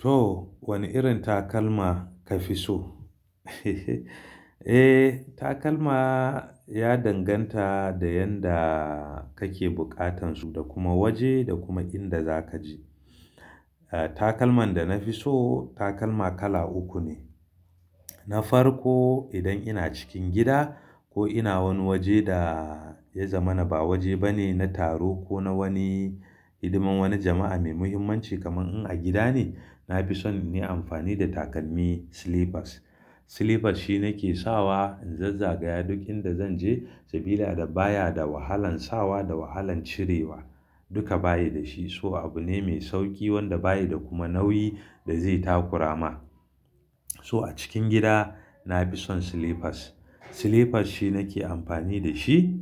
Toh, wani irin takalma kafi so? Eh, takalma ya danganta da yanda kake bukatan su, da kuma waje da kuma inda zaka je. Ah takalman da na fi so takalma kala uku ne. Na farko idan ina cikin gida ko ina wani waje da ya zama na ba waje bane na taro ko na wani hidiman wani jama'a mai muhimmanci kamar in a gida ne, nafi son in yi amfani da takalmi slippers. Slippers shi nake sawa in zazzagaya duk inda zan je sabida da baya da wahalan sawa da wahalan cirewa duka bayi da shi. So abu ne mai sauki wanda bayi da kuma nauyi da zai takurama. So a cikin gida na fi son slippers. Slippers shi nake amfani da shi.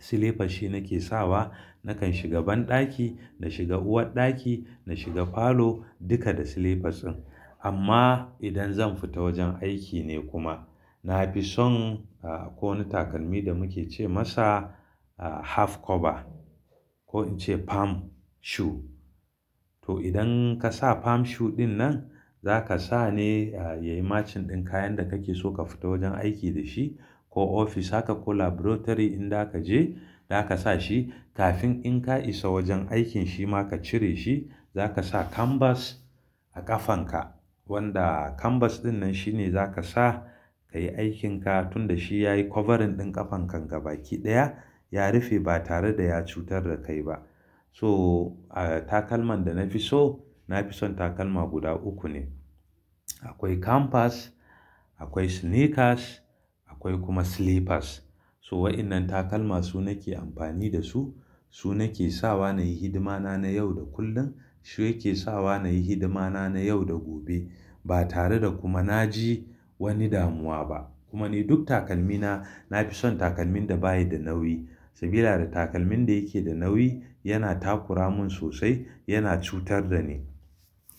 Slippers shi nake sawa, nakan shiga banɗaki, na shiga uwarɗaki, na shiga falo duka da slippers din. Amma idan zan fita wajen aiki ne kuma nafi son ah ko wani takalmi da muke ce masa ah half cover. Ko in ce palm shoe. To idan ka sa palm shoe ɗinnan zaka sa ne ya yi matchin ɗin kayan da kake so ka fita wajen aiki da shi ko ofis haka ko laboratory inza kaje zaka sa shi kafin in ka isa wajen aikin shi ma ka cire shi, zaka sa canvas a ƙafanka. Wanda canvas ɗinnan shine zaka sa kayi aikinka tunda shi yayi covering ɗin ƙafanka gaba ki ɗaya. Ya rufe ba tare da ya cutar da kai ba. So ah takalman da na fi so, na fi son takalma guda uku ne. Akwai kambas, akwai snickers, akwai kuma slippers toh wadannan takalma su nake amfani da su, su nake sawa nake hidima na na yau da kullun. To idan ka sa pump shoe ɗinnan zaka sa ne ya yi matchin ɗin kayan da kake so ka fita wajen aiki da shi ko ofis haka ko laboratory inda kaje kuma duk takalmi na, na fi son takalmin da bayi da nauyi sabida da takalmin da yake da nauyi yana takura mun sosai, yana cutar da ni,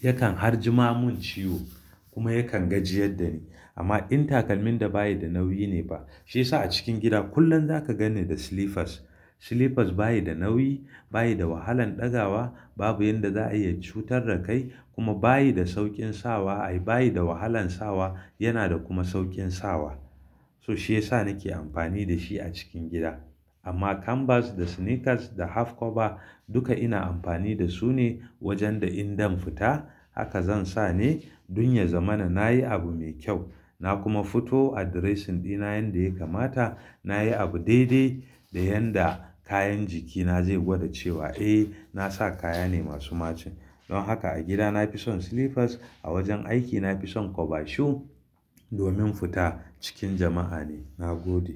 yakan har jima mun ciwo kuma yakan gajiyar da ni. Amma in takalmin da bayi da nauyi ne ba, shi yasa a cikin gidan kullum za ka ganni da slippers. Zaka sa shi kafin in ka isa wajen aikin shi ma ka cire shi, zaka sa canvas a ƙafanka. Wanda canvas ɗinnan shine zaka sa kayi aikinka tunda shi yayi covering ɗin ƙafanka gaba ki ɗaya. Ya rufe ba tare da ya cutar da kai ba. Akwai canvas, akwai sneakers akwai kuma slippers. So waɗannan takalma su nake amfani da su, su nake sawa nayi hidimana na yau da kullum. Na kuma fito addressing ɗina yanda ya kamata nayi abu daidai da yanda kayan jikina zai gwada cewa, eh na sa kaya ne masu match. Don haka a gida na fi son slippers. A wajen aiki na fi son cover shoe domin fita cikin jama'a ne. Na gode.